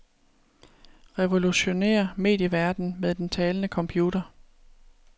Revolutionér medieverdenen med den talende computer.